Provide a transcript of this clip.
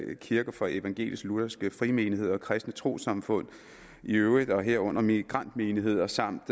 kirker for evangelisk lutherske frimenigheder og kristne trossamfund i øvrigt herunder migrantmenigheder samt